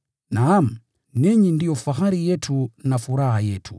Naam, ninyi ndio fahari yetu na furaha yetu.